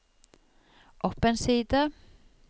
opp en side